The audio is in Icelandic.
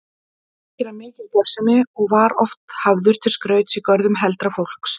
Þar þykir hann mikil gersemi og var oft hafður til skrauts í görðum heldra fólks.